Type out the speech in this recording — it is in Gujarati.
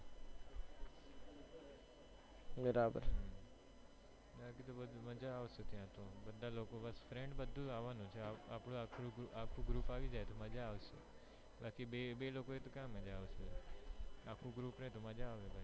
બરાબર મેં કીધું મજ્જા આવશે ત્યાંતો બધા લોકો friends બધું આવાનું છે આપણું આખું group આવી જાય તો મજ્જા આવી જાય બાકી બે લોકો હોય તો ક્યાં મજ્જા આવે આખું group હોય તો મજ્જા આવે